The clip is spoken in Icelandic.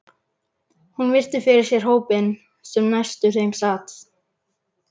Hún virti fyrir sér hópinn sem næstur þeim sat.